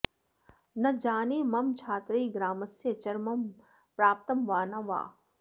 न जाने मम छात्रैः ग्रामस्य चरमं प्राप्तं वा न वा